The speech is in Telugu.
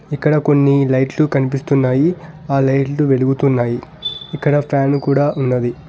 ఇక్కడ కొన్ని లైట్లు కనిపిస్తున్నాయి ఆ లైట్లు వెలుగుతున్నాయి ఇక్కడ ఫ్యాను కూడ ఉన్నది.